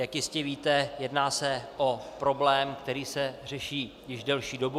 Jak jistě víte, jedná se o problém, který se řeší již delší dobu.